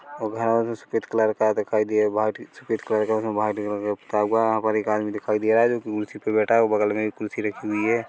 सफेद कलर का दिखाई दिये बाटी सफेद कलर का उसमे वाहिट कलर के पुता हुआ है यहाँ पर एक आदमी दिखाई दे रहा है जोकि कुर्सी बैठा हुआ बगल में एक कुर्सी रखी हुई है।